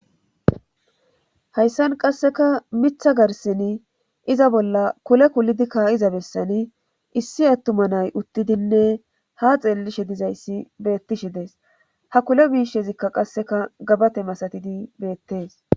hayssan qasseka mitha garsini iza bolla kule kulidi kaa7iza bessani issi attuma nay uttidinne ha xeellishe dizayssi beettishi dees ha kule mishezikka qasseka gabate masatidi beettes